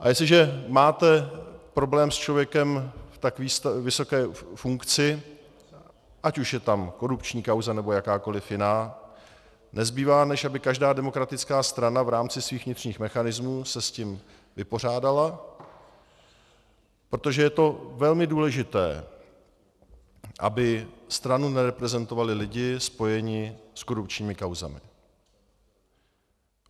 A jestliže máte problém s člověkem v tak vysoké funkci, ať už je tam korupční kauza, nebo jakákoliv jiná, nezbývá, než aby každá demokratická strana v rámci svých vnitřních mechanismů se s tím vypořádala, protože to je velmi důležité, aby stranu nereprezentovali lidé spojení s korupčními kauzami.